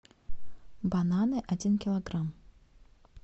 бананы один килограмм